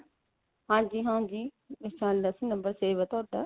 ਹਾਂਜੀ ਹਾਂਜੀ ਪਹਿਚਾਣ ਲਿਆ ਸੀ number save ਆ ਤੁਹਾਡਾ